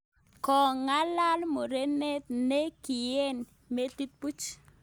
Kogong'alaal murenet ne kigieny metit puch